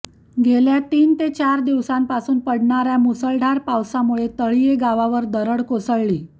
गेल्या तीन ते चार दिवसांपासून पडणाऱ्या मुसळधार पावसामुळे तळीये गावावर दरड कोसळली